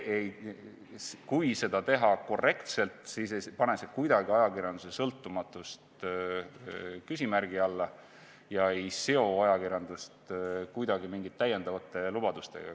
Kui seda teha korrektselt, siis ei pane see kuidagi ajakirjanduse sõltumatust küsimärgi alla ega seo ajakirjandust mingite täiendavate lubadustega.